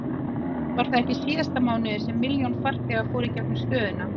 Var það ekki í síðasta mánuði sem milljón farþegar fóru í gegnum stöðina?